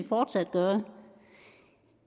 fortsat gøre